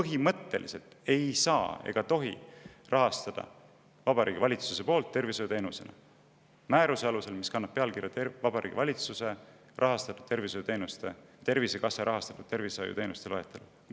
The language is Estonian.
Järelikult seda ei saa ega tohi Vabariigi Valitsuse poolt rahastada tervishoiuteenusena määruse alusel, mis kannab pealkirja "Tervisekassa tervishoiuteenuste loetelu".